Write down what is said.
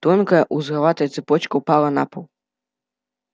тонкая узловатая цепочка упала на пол